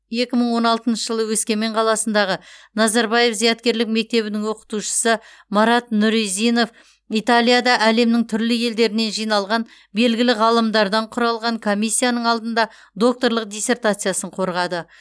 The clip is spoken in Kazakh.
екі мың он алтыншы жылы өскемен қаласындағы назарбаев зияткерлік мектебінің оқытушысы марат нұризинов италияда әлемнің түрлі елдерінен жиналған белгілі ғалымдардан құралған комиссияның алдында докторлық диссертациясын қорғады